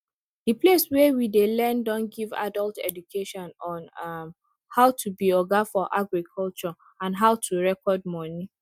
the place wey we dey learn don give adult education on um how to be oga for agriculture and how to record money